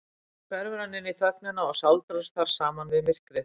Loks hverfur hann inní þögnina og sáldrast þar saman við myrkrið.